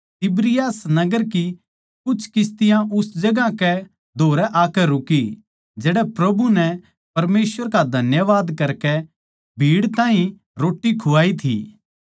तिबिरियास नगर की कुछ किस्तियाँ उस जगहां कै धोरै आकै रुकी जड़ै प्रभु नै भीड़ ताहीं रोट्टी खुआई थी